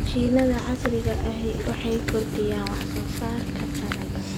Mashiinnada casriga ahi waxay kordhiyaan wax soo saarka dalagga.